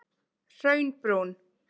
Hraunbrún